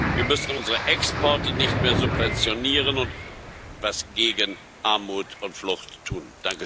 Wir müssen unsere Exporte nicht mehr subventionieren, und etwas gegen Armut und Flucht tun.